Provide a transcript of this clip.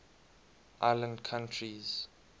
island countries